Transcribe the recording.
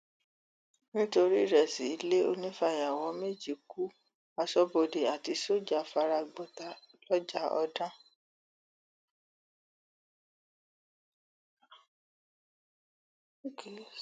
nítorí ìrẹsì ilé onífàyàwọ méjì ku aṣọbodè àti sójà fara gbọta lọjàọdàn